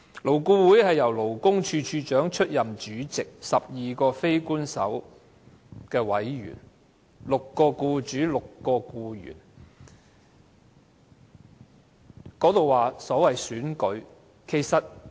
勞顧會由勞工處處長出任主席，共有12名非官方委員，分別由僱主及僱員方面的6名代表出任"。